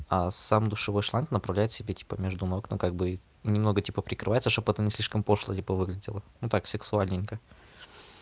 а сам душевой шланг направляет себе типа между ног ну как бы немного типа прикрывается чтобы это не слишком пошло типа выглядело ну так сексуальненько